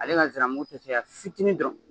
Ale ka nsiramugu tɛ caya fitinin dɔrɔn